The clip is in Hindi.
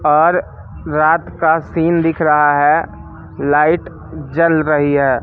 और रात का सीन दिख रहा है लाइट जल रही है।